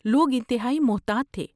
لوگ انتہائی محتاط تھے۔